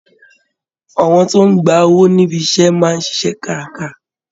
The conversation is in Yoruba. Àwọn tó ń ń gba owó níbi iṣẹ́ máa ń ṣiṣẹ́ kárakára